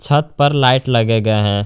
छत पर लाइट लगे गए है।